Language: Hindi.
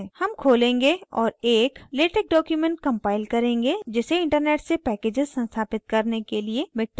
हम खोलेंगे और एक latex document compile करेंगे जिसे internet से packages संस्थापित करने के लिए miktex की आवश्यकता है